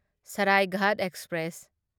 Saraighat express